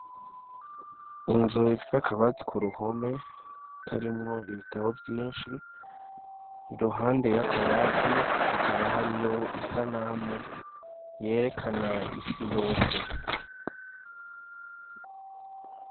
Injuw ifise akabati ku ruhome tarimwo ibitabo vyinshi iruhande y'akabati hakaba hariyo isanamu yerekana isi yose.